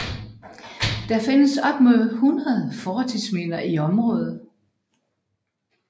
Der findes op mod 100 fortidsminder i området